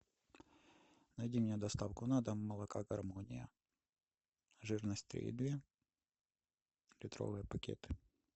найди мне доставку на дом молока гармония жирность три и две литровые пакеты